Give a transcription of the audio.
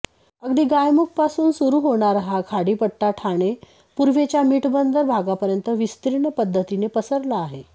अगदी गायमुखपासून सुरू होणारा हा खाडीपट्टा ठाणे पूर्वेच्या मीठबंदर भागापर्यंत विस्तीर्ण पद्धतीने पसरला आहे